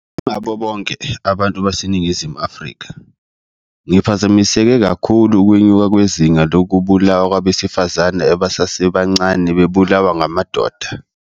Njengabo bonke abantu baseNingizimu Afrika, ngiphazamiseke kakhulu ukwenyuka kwezinga lokubulawa kwabesifazane abasebancane bebulawa ngamadoda.